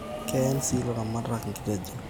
Keen si ilaramatak inkitejon